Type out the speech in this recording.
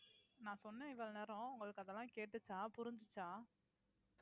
நான் சொன்னேன் இவ்வளவு நேரம் உங்களுக்கு அதெல்லாம் கேட்டுச்சா புரிஞ்சுச்சா